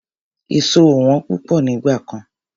Èso ò wọ́n púpọ̀ nígbà kan.